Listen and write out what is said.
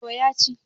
to ya ci